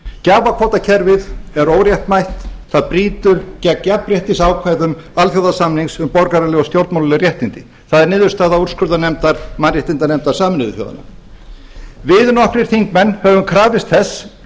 gjafakvótakerfið er óréttmætt það brýtur gegn jafnréttisákvæðum alþjóðasamnings um borgaraleg og stjórnmálaleg réttindi það er niðurstaða úrskurðarnefndar mannréttindanefndar sameinuðu þjóðanna við nokkrir þingmenn höfum krafist þess